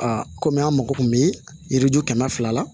kɔmi an mako kun bɛ yiri ju kɛmɛ fila la